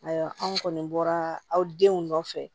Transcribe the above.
Ayiwa anw kɔni bɔra aw denw nɔfɛ